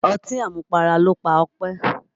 Ọtí àmupara ló pa Ọpẹ́.